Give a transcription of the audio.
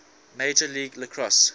major league lacrosse